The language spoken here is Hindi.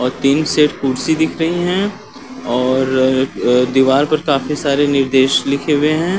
औ तीन सेट कुर्सी दिख रहीं हैं और अ दिवाल पर काफी सारे निर्देश लिखे वे हैं।